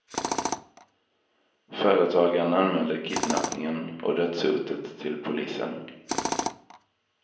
Företagaren anmälde kidnappningen och dödshotet till polisen.